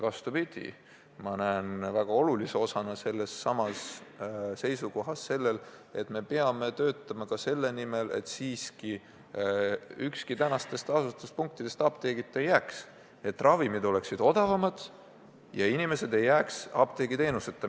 Vastupidi, ma pean väga oluliseks, et me töötaksime selle nimel, et ükski asula apteegita ei jääks, et ravimid oleksid odavamad ja inimesed ei jääks apteegiteenuseta.